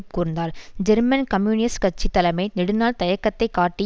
கூர்ந்தாள் German communist கட்சி தலைமை நெடுநாள் தயக்கத்தை காட்டி